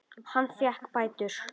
Hann fékk bætur.